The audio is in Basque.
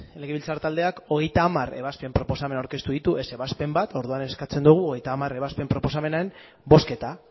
legebiltzar taldeak hogeita hamar ebazpen proposamen aurkeztu ditu ez ebazpen bat orduan eskatzen dugu hogeita hamar ebazpen proposamenen bozketa